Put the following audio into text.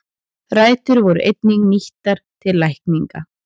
Rætur voru einnig nýttar til lækninga.